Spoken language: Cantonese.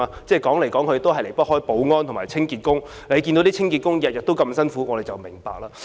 即使有也離不開保安和清潔的工作，我們看到清潔工人每天辛苦工作便會明白。